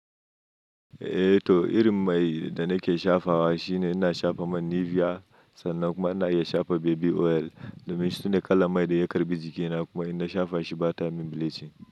Eh to irin mai da nake shafa wa shine ina shafa man Nivea sannan kuma ina iya shafa baby oil domin sune kalan mai da ya karbi jikina kuma ina shafa shi bata min bilicin.